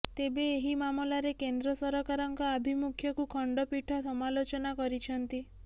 ତେବେ ଏହି ମାମଲାରେ କେନ୍ଦ୍ର ସରକାରଙ୍କ ଆଭିମୁଖ୍ୟକୁ ଖଣ୍ଡପୀଠ ସମାଲୋଚନା କରିଛନ୍ତି